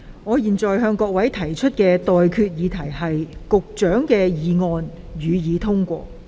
我現在向各位提出的待決議題是：保安局局長動議的議案，予以通過。